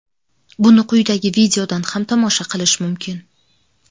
Buni quyidagi videodan ham tomosha qilish mumkin.